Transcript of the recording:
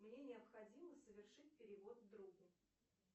мне необходимо совершить перевод другу